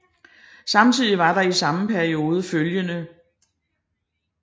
Samtidig var der i samme periode iflg